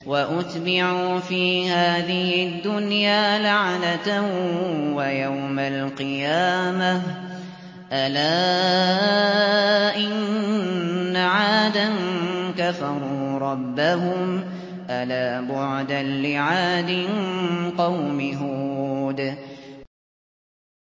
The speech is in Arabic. وَأُتْبِعُوا فِي هَٰذِهِ الدُّنْيَا لَعْنَةً وَيَوْمَ الْقِيَامَةِ ۗ أَلَا إِنَّ عَادًا كَفَرُوا رَبَّهُمْ ۗ أَلَا بُعْدًا لِّعَادٍ قَوْمِ هُودٍ